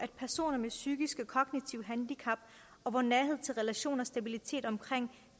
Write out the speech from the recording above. personer med psykiske og kognitive handicap hvor nærhed til relationer og stabilitet omkring